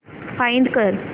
find कर